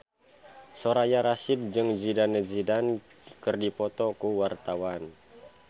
Soraya Rasyid jeung Zidane Zidane keur dipoto ku wartawan